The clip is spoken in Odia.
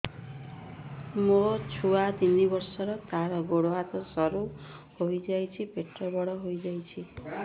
ମୋ ଛୁଆ ତିନି ବର୍ଷ ତାର ଗୋଡ ହାତ ସରୁ ହୋଇଯାଉଛି ପେଟ ବଡ ହୋଇ ଯାଉଛି